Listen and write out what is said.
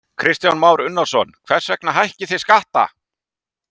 Kristján Már Unnarsson: Hvers vegna hækkið þið skattana?